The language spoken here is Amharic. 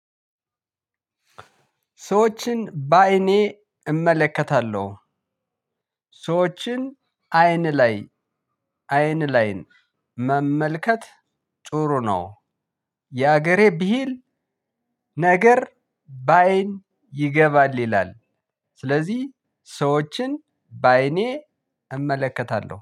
ሰዎችን በአይኔ እመለከታለሁ። ሰዎችን አይን ላይ አይን ላይን መመልከት ጥሩ ነው የሀገሬ ብሂል ነገር ባይን ይገባል ይላል። ስለዚህ ሰዎችን በአይኔ እመለከታለሁ።